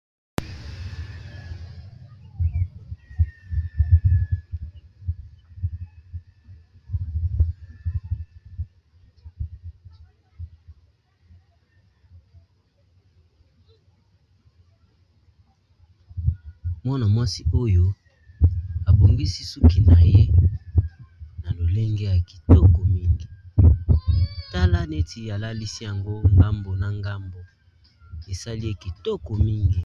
Mwana mwasi oyo abongisi suki na ye na lolenge ya kitoko mingi tala neti alalisi yango ngambo na ngambo esali ye kitoko mingi.